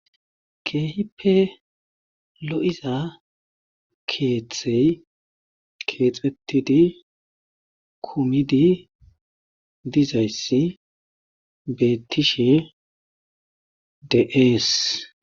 Keehippe lo'iza keeththey keexxetidi kuumidi dizayssi bettishe dees.